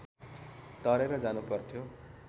तरेर जानुपर्थ्यो